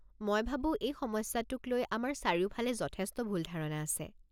মই ভাবো এই সমস্যাটোক লৈ আমাৰ চাৰিওফালে যথেষ্ট ভুল ধাৰণা আছে।